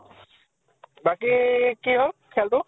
বাকী কি হল খেল্তো?